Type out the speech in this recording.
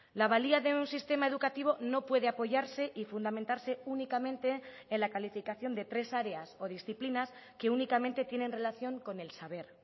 la valía de un sistema educativo no puede apoyarse y fundamentarse únicamente en la calificación de tres áreas o disciplinas que únicamente tienen relación con el saber